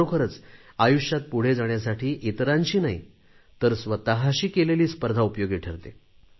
खरोखरीच आयुष्यात पुढे जाण्यासाठी इतरांशी नाही तर स्वतशी केलेली स्पर्धा उपयोगी ठरते